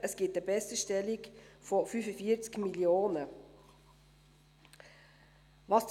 Es gibt eine Besserstellung von 45 Mio. Franken.